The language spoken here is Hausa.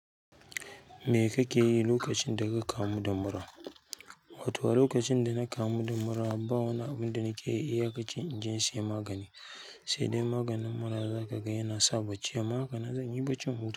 Me kake yi lokacin da ka kamu da mura? Wato lokacin da na kamu da mura, ba wani abun da nake iya yi iyakaco in je in sayi magani. Sai dai maganin mura zaka ga yana sa barci, amma hakan nan zan yi bacci in huta.